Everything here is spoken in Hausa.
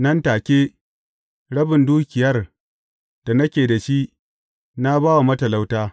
Nan take, rabin dukiyar da nake da shi, na ba wa matalauta.